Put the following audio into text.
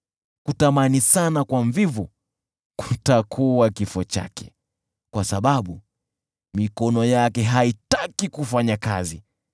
Kutamani sana kwa mvivu kutakuwa kifo chake, kwa sababu mikono yake haitaki kufanya kazi.